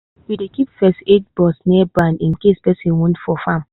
we dey keep first aid box near barn in case person wound for farm